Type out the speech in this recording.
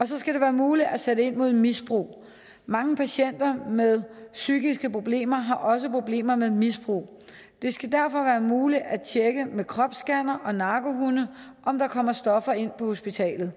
så skal det være muligt at sætte ind mod misbrug mange patienter med psykiske problemer har også problemer med misbrug det skal derfor være muligt at tjekke med kropsscannere og narkohunde om der kommer stoffer ind på hospitalet